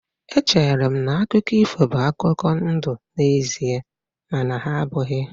Echere m na akụkọ ifo bụ akụkọ ndụ n'ezie mana ha abụghị.